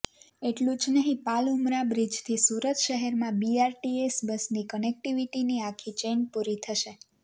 એટલું જ નહીં પાલ ઉમરા બ્રિજથી સુરત શહેરમાં બીઆરટીએસ બસની કનેક્ટિવિટીની આખી ચેઇન પૂરી થશે